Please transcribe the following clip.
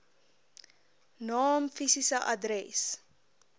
naam fisiese adres